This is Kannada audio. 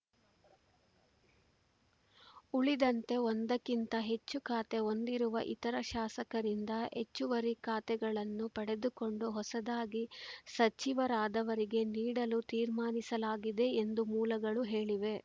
ಉಳಿದಂತೆ ಒಂದಕ್ಕಿಂತ ಹೆಚ್ಚು ಖಾತೆ ಹೊಂದಿರುವ ಇತರ ಶಾಸಕರಿಂದ ಹೆಚ್ಚುವರಿ ಖಾತೆಗಳನ್ನು ಪಡೆದುಕೊಂಡು ಹೊಸದಾಗಿ ಸಚಿವರಾದವರಿಗೆ ನೀಡಲು ತೀರ್ಮಾನಿಸಲಾಗಿದೆ ಎಂದು ಮೂಲಗಳು ಹೇಳಿವೆ